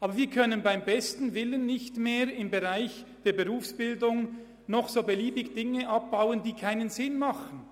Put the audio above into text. Aber wir können beim besten Willen im Bereich der Berufsbildung nicht mehr beliebig Dinge abbauen, die keinen Sinn haben.